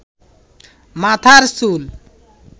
মাথার চুল